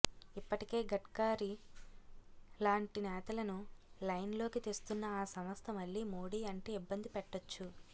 ఇప్పటికే గడ్కరీ లాంటి నేతలను లైన్ లోకి తెస్తున్న ఆ సంస్థ మళ్ళీ మోడీ అంటే ఇబ్బంది పెట్టచ్చు